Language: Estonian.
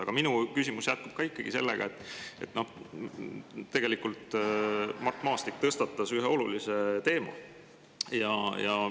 Aga minu küsimus jätkub sellega, et tegelikult Mart Maastik tõstatas ühe olulise teema.